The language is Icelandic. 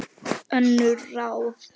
Önnur ráð